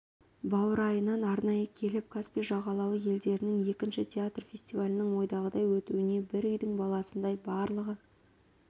баурайынан арнайы келіп каспий жағалауы елдерінің екінші театр фестивалінің ойдағыдай өтуіне бір үйдің баласындай барлығы